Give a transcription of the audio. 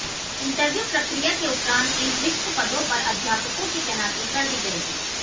interview प्रक्रिया के उपरांत इन रिक्त पदों पर अध्यापकों की तैनाती कर दी जाएगी